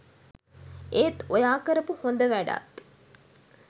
ඒත් ඔයා කරපු හොඳ වැඩත්